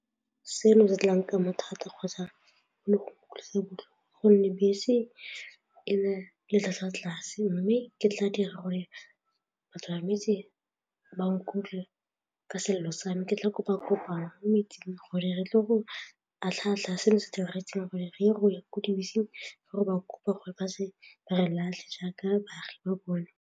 Seno se tla nkama thata kgotsa le go utlwisa botlhoko gonne bese e na le tlhatlhwa tlase mme ke tla dira gore batsamaisi ba nkutlwe ke selelo sa mme ke tla kopa kopano mo metseng gore re tle go tlhatlhoba seno se diragetseng gore re gore dibese kopa gore ba tle ba re latlhe jaaka baagi ba bone.